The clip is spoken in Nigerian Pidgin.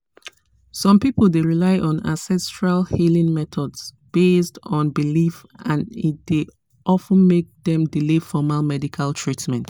some people dey rely on ancestral healing methods based on belief and e dey of ten make dem delay formal medical treatment.